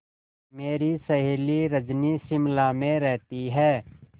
मेरी सहेली रजनी शिमला में रहती है